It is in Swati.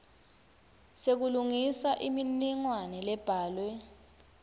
sekulungisa imininingwane lebhalwe